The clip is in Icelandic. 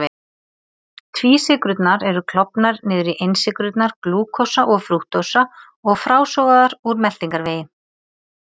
Tvísykrurnar eru klofnar niður í einsykrurnar glúkósa og frúktósa og frásogaðar úr meltingarvegi.